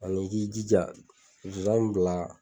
Ani k'i jija zonzan mi bila